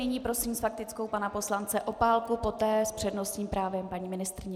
Nyní prosím s faktickou pana poslance Opálku, poté s přednostním právem paní ministryni.